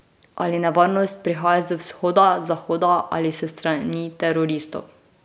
Ali nevarnost prihaja z vzhoda, zahoda ali s strani teroristov?